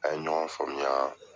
An ye ɲɔgɔn faamuya